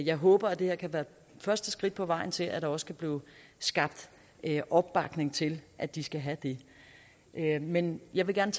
jeg håber at det her kan være første skridt på vejen til at der også kan blive skabt opbakning til at de skal have det men jeg vil gerne